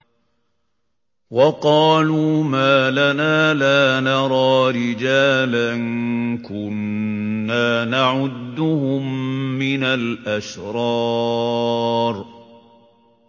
وَقَالُوا مَا لَنَا لَا نَرَىٰ رِجَالًا كُنَّا نَعُدُّهُم مِّنَ الْأَشْرَارِ